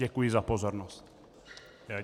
Děkuji za pozornost.